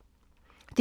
DR1